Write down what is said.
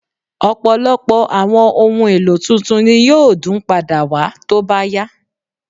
Ọ̀pọ̀lọpọ̀ àwọn ohun èlò tuntun ni yóò dún padà wà tó bá yá